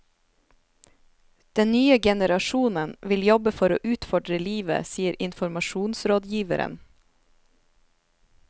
Den nye generasjonen vil jobbe for å utfordre livet, sier informasjonsrådgiveren.